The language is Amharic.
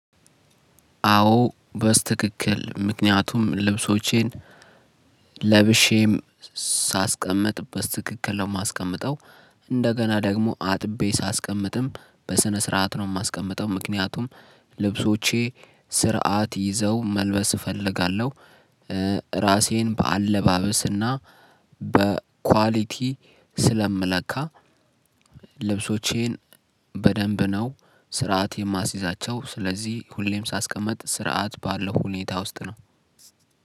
አዎ በስትክክል ምክንያቱም ልብሶቼን ለብሼም ሳስቀምጥ በስተክክል ነው የማስቀምጠው። እንደገና ደግሞ አጥቤ ሳስቀምጥም በስነ ስርዓት ነው የማስቀምጠው። ምክንያቱም ልብሶቼ ስርዓት ይዘው መልበስ እፈልጋለሁ። ራሴን በአለባበስና በኳሊቲ ስለምለካ። ልብሶቼን በደንብ ነው ስርዓት የማሲዛቸው ስለዚህ ሁሌም ሳስቀምጥ ስርዓት ባለው ሁኔታ ውስጥ ነው።